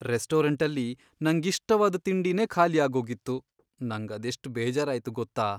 ರೆಸ್ಟೋರಂಟಲ್ಲಿ ನಂಗಿಷ್ಟವಾದ್ ತಿಂಡಿನೇ ಖಾಲಿ ಆಗೋಗಿತ್ತು, ನಂಗದೆಷ್ಟ್ ಬೇಜಾರಾಯ್ತು ಗೊತ್ತಾ?